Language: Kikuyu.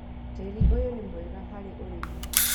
Tĩri ũyũ nĩ mwega harĩ ũrĩmi